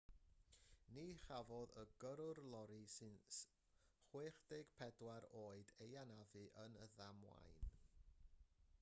ni chafodd y gyrrwr lori sy'n 64 oed ei anafu yn y ddamwain